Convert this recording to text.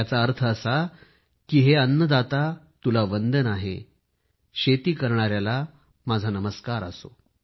याचा अर्थ असा आहे की अन्नदाता तुला वंदन आहे शेती करणायाला नमस्कार असो